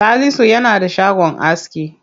Salisu yana da shagon aski.